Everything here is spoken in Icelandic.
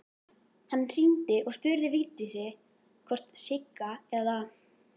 Hann hringdi og spurði Vigdísi hvort Sigga eða